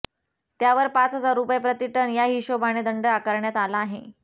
त्यावर पाच हजार रुपये प्रतिटन या हिशोबाने दंड आकारण्यात आला आहे